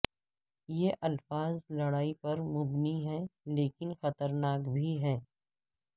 یہ الفاظ لڑائی پر مبنی ہیں لیکن خطرناک بھی ہیں